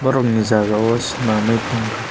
borok ni jaga o senamoi tang ka.